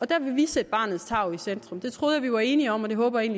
der vil vi sætte barnets tarv i centrum det troede jeg at vi var enige om og det håber jeg